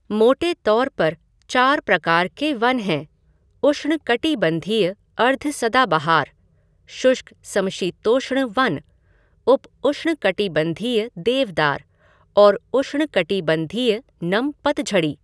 मोटे तौर पर चार प्रकार के वन हैं उष्णकटिबंधीय अर्ध सदाबहार, शुष्क समशीतोष्ण वन, उप उष्णकटिबंधीय देवदार और उष्णकटिबंधीय नम पतझड़ी।